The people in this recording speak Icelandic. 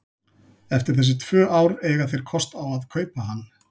Eftir þessi tvö ár eiga þeir kost á að kaupa hann.